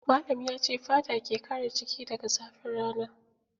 Malam ya ce fata ke kare jiki daga zafin rana.